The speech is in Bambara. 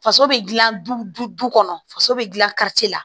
Faso bɛ dilan du kɔnɔ faso bɛ dilan kari ci la